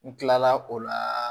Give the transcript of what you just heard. N kilala o la